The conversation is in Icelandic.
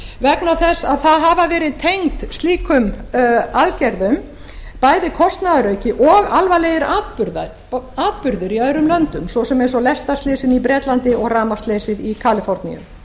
vegna þess að það hafa verið tengd slíkum aðgerðum bæði kostnaðarauki og alvarlegir atburðir í öðrum löndum svo sem eins og lestarslysin í bretlandi og rafmagnsleysið í kaliforníu